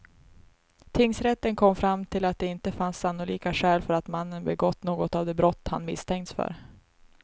Tingsrätten kom fram till att det inte fanns sannolika skäl för att mannen begått något av de brott han misstänkts för.